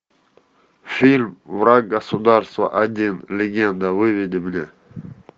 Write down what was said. фильм враг государства один легенда выведи мне